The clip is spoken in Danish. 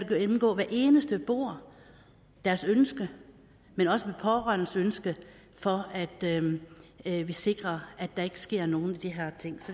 gennemgå hver eneste beboer deres ønske men også de pårørendes ønske for at vi sikrer at der ikke sker nogen af de her ting